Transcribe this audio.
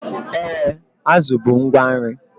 Ee, azụ bụ ngwa nri